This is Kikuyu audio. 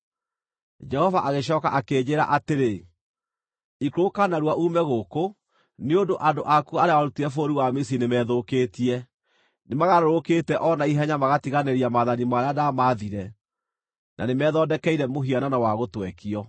Jehova agĩcooka akĩnjĩĩra atĩrĩ, “Ikũrũka narua uume gũkũ nĩ ũndũ andũ aku arĩa warutire bũrũri wa Misiri nĩmethũkĩtie. Nĩmagarũrũkĩte o na ihenya magatiganĩria maathani marĩa ndamaathire na nĩmethondekeire mũhianano wa gũtwekio.”